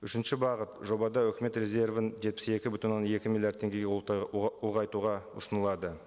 үшінші бағыт жобада өкімет резервін жетпіс екі бүтін оннан екі миллиард теңгеге ұлғайтуға ұсынылады